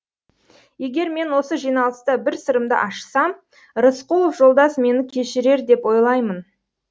егер мен осы жиналыста бір сырымды ашсам рысқұлов жолдас мені кешірер деп ойлаймын